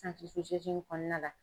santiriwizɛzini kɔnɔna la